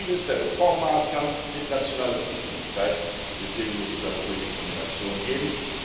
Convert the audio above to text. Denn viele der Reformmaßnahmen unterstehen nationaler Zuständigkeit, und deswegen muss es eine solche Kombination geben.